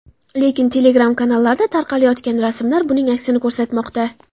Lekin Telegram-kanallarda tarqayotgan rasmlar buning aksini ko‘rsatmoqda .